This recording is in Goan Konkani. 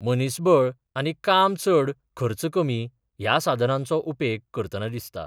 मनिसबळ आनी काम चड खर्च कमी या साधनांचो उपेग करतनां दिसता.